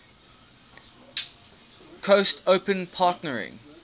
coast open partnering